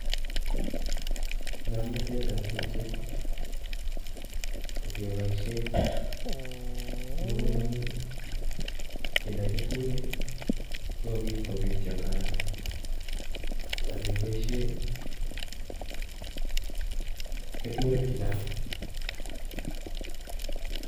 Ng'omnotetab tukyu kokeboisien mokomboik, kinde keturek sikopitio eng haraka akeboisien keturek chechang.